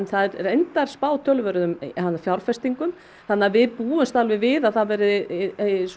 það er reyndar spáð töluverðum fjárfestingum þannig að við búumst alveg við að það verði